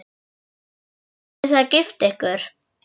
Hvenær ætlið þið að gifta ykkur?